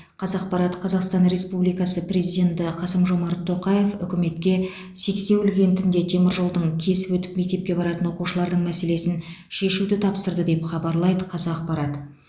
қазақпарат қазақстан республикасы президенті қасым жомарт тоқаев үкіметке сексеуіл кентінде теміржолдың кесіп өтіп мектепке баратын оқушылардың мәселесін шешуді тапсырды деп хабарлайды қазақпарат